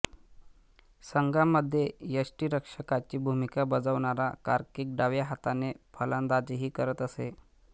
संघामध्ये यष्टिरक्षकाची भूमिका बजावणारा कार्कीक डाव्या हाताने फलंदाजीही करत असे